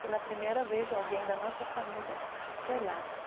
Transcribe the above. Pela primeira vez, alguém da nossa família foi lá.